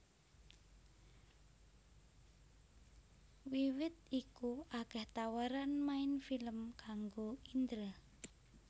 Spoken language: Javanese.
Wiwit iku akèh tawaran main film kangggo Indra